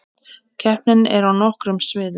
Keppnin er á nokkrum sviðum